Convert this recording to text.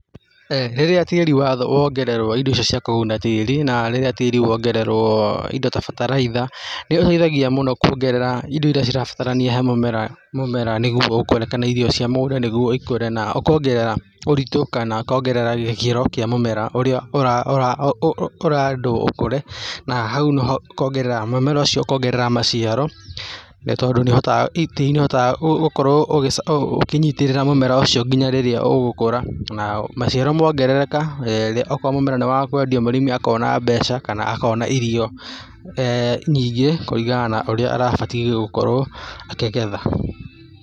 Rĩrĩa tĩri wongererwo indo icio cia kũguna tĩri na rĩrĩa tĩri wongererwo indo ta bataraitha nĩ iteithagia mũno kwongerera indo iria cirabatarania he mũmera mũmera, nĩguo ikũre kana nĩguo irio cia mũgũnda nĩguo ikũre na ũkongerera ũritũ kana ikongerera gĩkĩro kĩa mũmera ũrĩa ũũũ ũrendwo ũkũre na hau noho ũkongerera, mũmera ũcio ũkongerera maciaro nĩ tondũ nĩ ũhotaga, tĩri nĩ ũhotaga gũkorwo ũũ ũkĩnyitĩrĩra mũmera ũcio nginya rĩrĩa ũgũkũra na maciaro mongerereka ũkorwo mũmera nĩ wa kwendia mũrĩmi akona mbeca kana akona irio eeh nyingĩ kũringana na ũrĩa arabatiĩ gũkorwo akĩgetha.